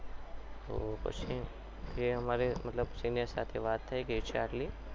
તો પછી તે અમારે senior સાથે વાત થઈ ગઈ છે આટલી